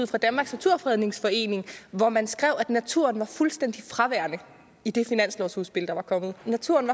fra danmarks naturfredningsforening hvor man skrev at naturen var fuldstændig fraværende i det finanslovsudspil der var kommet naturen